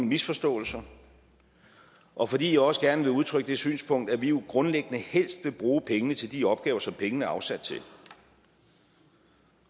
misforståelser og fordi jeg også gerne vil udtrykke det synspunkt at vi jo grundlæggende helst vil bruge pengene til de opgaver som pengene er afsat til